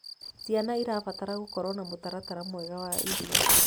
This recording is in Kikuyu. Ciana irabatara gũkorwo na mutaratara mwega wa irio